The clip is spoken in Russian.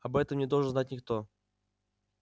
об этом не должен знать никто